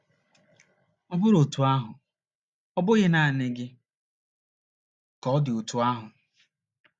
Ọ bụrụ otú ahụ, ọ bụghị naanị gị ka ọ dị otú ahụ.